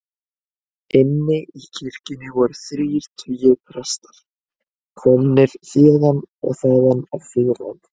Inni í kirkjunni voru þrír tugir presta, komnir héðan og þaðan af Suðurlandi.